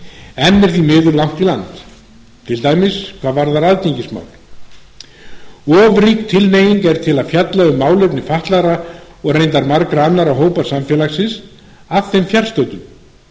langt í land til dæmis hvað varðar aðgengismál of rík tilhneiging er til að fjalla um málefni fatlaðra og reyndar margra annarra hópa samfélagsins að þeim fjarstöddum